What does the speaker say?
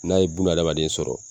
N'a ye bunahadamaden sɔrɔ.